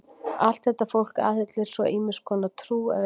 Allt þetta fólk aðhyllist svo ýmiss konar trú, ef einhverja.